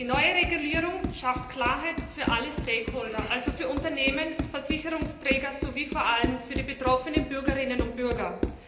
Die neue Regulierung schafft Klarheit für alle also für Unternehmen, Versicherungsträger sowie vor allem für die betroffenen Bürgerinnen und Bürger.